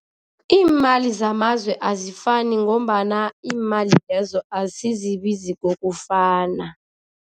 Iimali zamazwe azifani ngombana iimali lezo asizibizi kokufana.